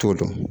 T'o dɔn